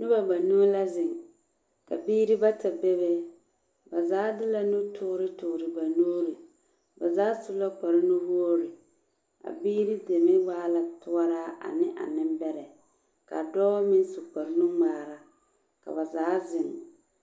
Noba banuu la zeŋ, ka biiri bata be be. Ba zaa de la nutoore toore ba nuuriŋ,. Ba zaa su la kparnuwoori, a biiri deme waa la toɔraa ane a nembɛrɛ. Ka dɔɔ meŋ su kparnu-ŋmaara, ka ba zaa zeŋ